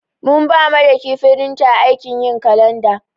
Mun ɓa Madaki firinta aikin yin kalanɗa.